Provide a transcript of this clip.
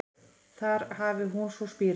Þar hafi hún svo spírað